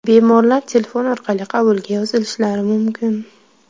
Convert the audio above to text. Bemorlar telefon orqali qabulga yozilishlari mumkin.